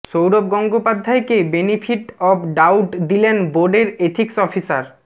সৌরভ গঙ্গোপাধ্যায়কে benefit of doubt দিলেন বোর্ডের এথিক্স অফিসার